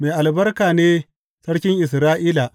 Mai albarka ne Sarkin Isra’ila!